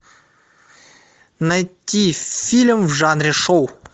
найти фильм в жанре шоу